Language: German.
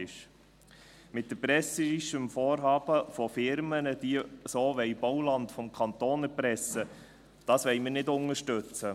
Erpresserisches Vorhaben von Firmen, die auf diese Art vom Kanton Bauland erpressen wollen, wollen wir nicht unterstützen.